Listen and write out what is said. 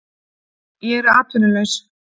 Ég er atvinnulaus